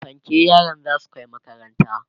fanke yaran zasu Kai makaranta